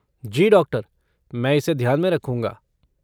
जी doctor! मैं इसे ध्यान में रखूंगा।